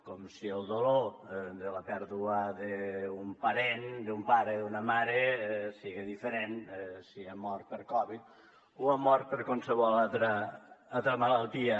com si el dolor de la pèrdua d’un parent d’un pare d’una mare siga diferent si ha mort per covid o ha mort per qualsevol altra malaltia